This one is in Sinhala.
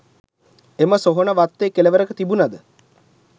එම සොහොන වත්තේ කෙළවරක තිබුණද